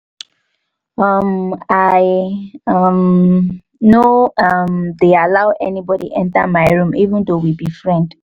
um i um no um dey allow anybody enter my room even though we be friend